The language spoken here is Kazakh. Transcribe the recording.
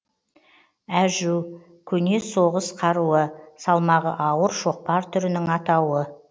әжү көне соғыс қаруы салмағы ауыр шоқпар түрінің атауы